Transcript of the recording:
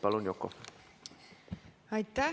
Palun, Yoko!